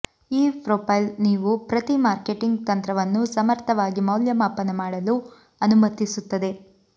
ಈ ಪ್ರೊಫೈಲ್ ನೀವು ಪ್ರತಿ ಮಾರ್ಕೆಟಿಂಗ್ ತಂತ್ರವನ್ನು ಸಮರ್ಥವಾಗಿ ಮೌಲ್ಯಮಾಪನ ಮಾಡಲು ಅನುಮತಿಸುತ್ತದೆ